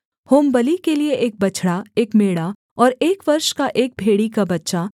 होमबलि के लिये एक बछड़ा एक मेढ़ा और एक वर्ष का एक भेड़ी का बच्चा